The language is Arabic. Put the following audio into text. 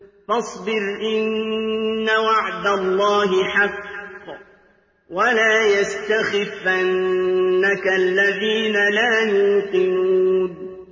فَاصْبِرْ إِنَّ وَعْدَ اللَّهِ حَقٌّ ۖ وَلَا يَسْتَخِفَّنَّكَ الَّذِينَ لَا يُوقِنُونَ